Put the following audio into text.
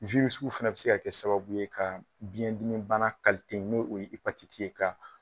fana bɛ se ka kɛ sababu ye ka biyɛndimi bana ni o ye epatiti ye ka